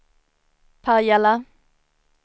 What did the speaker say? Pajala